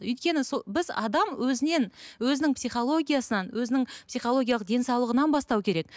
өйткені сол біз адам өзінен өзінің психологиясынан өзінің психологиялық денсаулығынан бастау керек